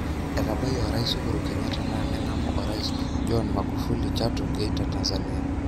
Etabayie orais Uhuru Kenyatta na nengamu Orais John M agufuli Chato Geita Tanzania.